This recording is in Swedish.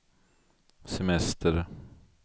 semester